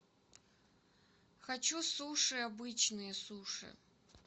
хочу суши обычные суши